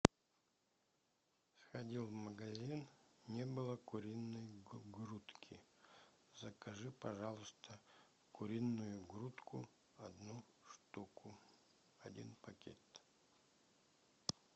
сходил в магазин не было куриной грудки закажи пожалуйста куриную грудку одну штуку один пакет